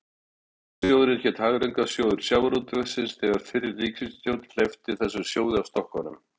Hagræðingarsjóðurinn hét líka Hagræðingarsjóður sjávarútvegsins þegar fyrri ríkisstjórn hleypti þessum sjóði af stokkunum.